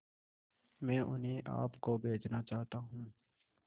मैं उन्हें आप को बेचना चाहता हूं